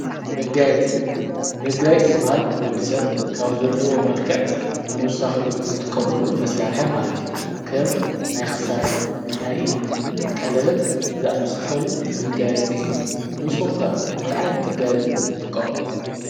መጋየፂ መጋይጽ ዝበሃል ወዲ ሰብ ካብ ዘለዎ መልክዕ ምሳኺሉ ዝጥቀመሉ መሣርሐ ማለት እዩ ከም ናይ ክሳድ ናይኢድ ቀለበት ዝኣምሰሰሉ መጋየጺ እዮም ንስኹምከ እንቲ ኣይንቲ መጋይጺ ዘትቆሙ።